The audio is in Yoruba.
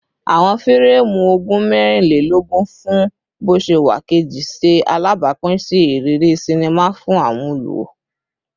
Awọn fireemu ogun mẹrinlelogun fun boṣewa keji ṣe alabapin si iriri sinima fun awọn oluwo